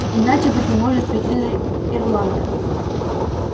иначе быть не может ведь ты тоже ирландка